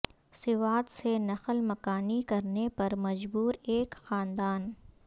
سوات سے نقل مکانی کرنے پر مجبور ایک خاندان